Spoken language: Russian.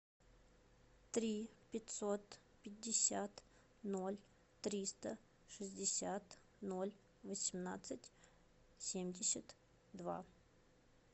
три пятьсот пятьдесят ноль триста шестьдесят ноль восемнадцать семьдесят два